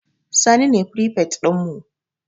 Sani ne firifet ɗinmu